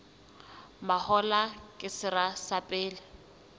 mahola ke sera sa pele